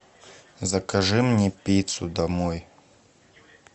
закажи мне пиццу домой